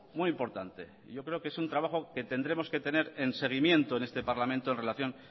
muy importante yo creo que es un trabajo que tendremos que tener en seguimiento en este parlamento en relación